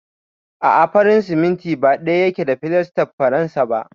A'a, farin siminti ba ɗaya yake da filastar faransa ba.